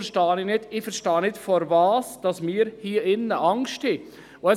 Deshalb verstehe ich nicht, wovor wir hier drin Angst haben.